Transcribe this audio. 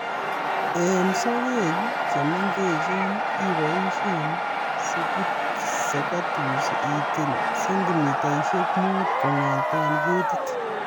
Eng sokek che mengechen iboisie secateurs itil sentimitaishek muut kong'ete ketit